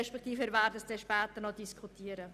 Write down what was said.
Zudem werden wir dies später noch einmal diskutieren.